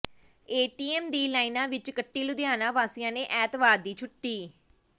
ATM ਦੀ ਲਾਈਨਾਂ ਵਿੱਚ ਕੱਟੀ ਲੁਧਿਆਣਾ ਵਾਸੀਆਂ ਨੇ ਐਤਵਾਰ ਦੀ ਛੁੱਟੀ